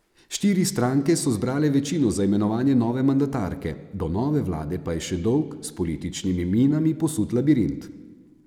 Štiri stranke so zbrale večino za imenovanje nove mandatarke, do nove vlade pa je še dolg, s političnimi minami posut labirint.